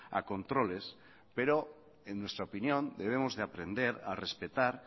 a controles pero en nuestra opinión debemos de aprender a respetar